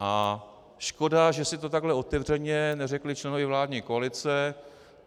A škoda, že si to takhle otevřeně neřekli členové vládní koalice.